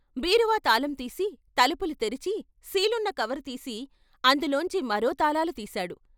బీరువా తాళం తీసి తలుపులు తెరిచి సీలున్న కవరుతీసి అందులోంచి మరో తాళాలు తీశాడు.